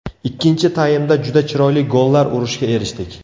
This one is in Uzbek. Ikkinchi taymda juda chiroyli gollar urishga erishdik.